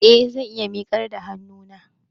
Eh, zan iya miƙar da hannuna